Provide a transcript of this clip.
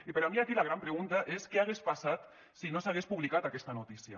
i per a mi aquí la gran pregunta és què hagués passat si no s’hagués publicat aquesta notícia